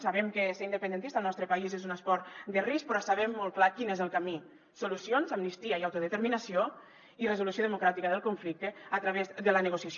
sabem que ser independentista al nostre país és un esport de risc però sabem molt clar quin és el camí solucions amnistia i autodeterminació i resolució democràtica del conflicte a través de la negociació